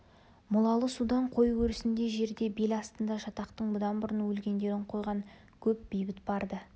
молалы судан қой өрісіндей жерде бел астында жатақтың бұдан бұрын өлгендерін қойған көп бейіт бар-ды